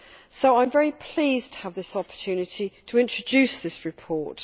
So I am very pleased to have this opportunity to introduce this report.